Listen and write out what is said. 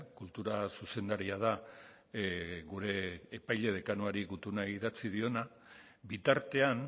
kultura zuzendaria da gure epaile dekanoari gutuna idatzi diona bitartean